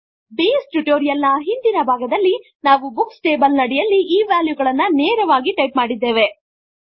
base tutorial ನ ಹಿಂದಿನ ಭಾಗದಲ್ಲಿ ನಾವು ಬುಕ್ಸ್ ಟೇಬಲ್ ನಡಿಯಲ್ಲಿ ಈ ವ್ಯಾಲ್ಯುಗಳನ್ನು ನೇರವಾಗಿ ಟೈಪ್ ಮಾಡಿದ್ದೇವೆ